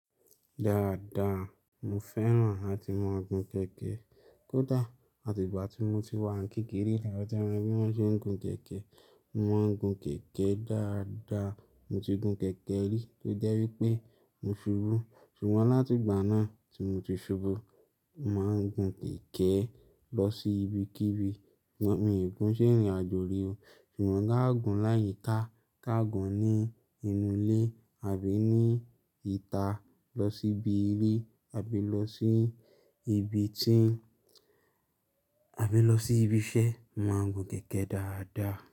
Dáadáa, mo fẹ́ràn láti máa gun kẹ̀kẹ́. Kódà àti ìgbà tí mo ti wà ní kékeré, ni mọ̀ ti mo bí wọ́n ṣe ń gun kẹ̀kẹ́. Mo máa ń gun kẹ̀kẹ́ dáadáa. Mo ti gun kẹ̀kẹ́ rí tó jẹ́ wípé mo ṣubú. Ṣùgbọ́n láti ìgbà náà tí mo ti ṣubú, mo máa ń gun kẹ̀kẹ́ lọ sí ibikíbi. Mi ò gun ṣe rìn àjò rí o. Ṣùgbọ́n káàgun láyìíká, káàgun ní inú ilé àbí ní ìta lọ sí ibi ilé àbí lọ sí ibi tí-- àbí lọ sí ibi iṣẹ́, mo máa ń gun kẹ̀kẹ́ dáadáa.